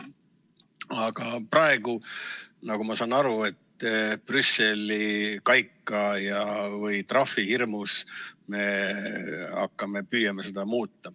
Aga praegu, nagu ma saan aru, Brüsseli kaika või trahvi hirmus me püüame seda muuta.